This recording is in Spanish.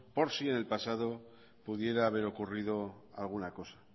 por si en el pasado pudiera haber ocurrido alguna cosa